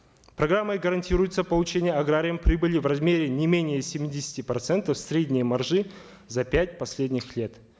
программой гарантируется получение аграрием прибыли в размере не менее семидесяти процентов средней маржи за пять последних лет